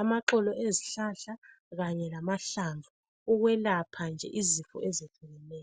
amaxolo ezihlahla kanye lamahlamvu ukwelapha nje izifo ezehlukeneyo.